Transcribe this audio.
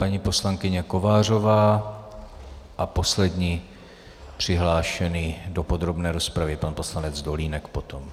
Paní poslankyně Kovářová a poslední přihlášený do podrobné rozpravy pan poslanec Dolínek potom.